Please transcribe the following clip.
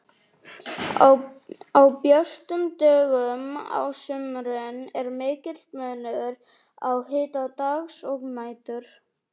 Á björtum dögum á sumrin er mikill munur á hita dags og nætur.